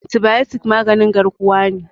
antibayotik maganin garkuwa ne